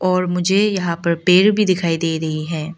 और मुझे यहां पर पेड़ भी दिखाई दे रही है।